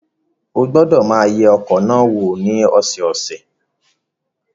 Ó gbọ́dọ̀ máa yẹ ọkọ̀ náà wò ní ọ̀sọ̀ọ̀sẹ̀.